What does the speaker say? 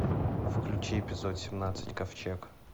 включи эпизод семнадцать ковчег